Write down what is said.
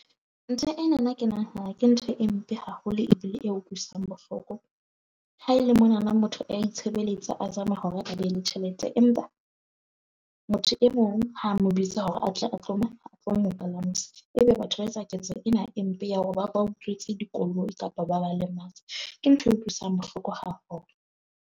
Ntho ena na ke nahana ke ntho e mpe haholo ebile e utlwisang bohloko. Ha ele mona na motho a itshebeletsa a zama hore a be le tjhelete. Empa motho e mong ha mo bitsa hore a tle a tlo . Ebe batho ba etsa ketso ena e mpe ya hore ba ba utswetse dikoloi kapa ba ba lematse. Ke ntho e utlwisang bohloko haholo.